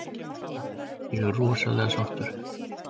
Ég er rosalega sáttur.